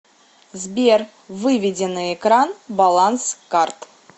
сбер выведи на экран баланс карт